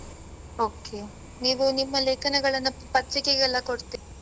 Okay , ನೀವು ನಿಮ್ಮ ಲೇಖನಗಳನ್ನ ಪತ್ರಿಕೆಗೆಲ್ಲಾ ಕೊಡ್ತಿರಾ?